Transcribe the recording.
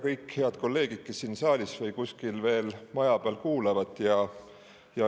Kõik head kolleegid, kes on siin saalis või on kuskil maja peal ja kuulavad!